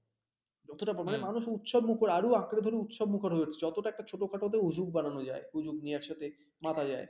যতটা পারব মানুষ উৎসব মুখর আরও আঁকড়া ধরে উৎসব মুখর হয়ে উঠছে যতটা একটা ছোটখাটো তে হুজুক বানানো যায়, হুজুক নিয়ে একসাথে মাতা যায়